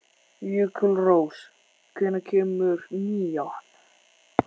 Jökulrós, hvenær kemur nían?